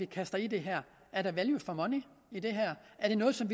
kaster i det her er der value for money i det er det noget som